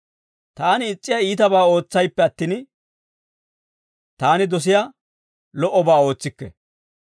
Taani is's'iyaa iitabaa ootsayppe attin, taani dosiyaa lo"obaa ootsikke.